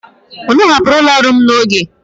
Ụnụ hapụrụ ụlọ ọrụ m n'oge.